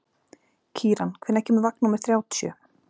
Kíran, hvenær kemur vagn númer þrjátíu?